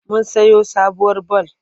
Mun sayo sabuwar bal.